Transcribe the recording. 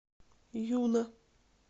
юна